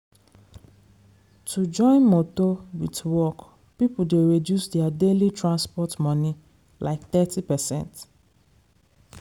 to join motor wit work people dey reduce their daily transport money like thirty percent